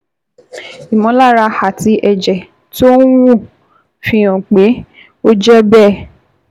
Ìmọ̀lára àti ẹ̀jẹ̀ tó ń wú fi hàn pé ó jẹ́ bẹ́ẹ̀